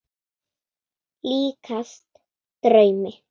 Líkast draumi.